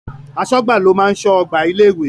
Aṣọ́gbà ló máa ń ṣọ́ ọgbà ilé ìwé.